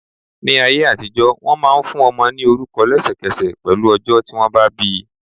Ní ayé àtijọ́, wọn máa ń fún ọmọ ní orúkọ lesekese pẹ̀lú ọjọ́ tí wọn bá bi.